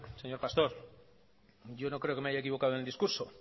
señor pastor yo no creo que me haya equivocado en el discurso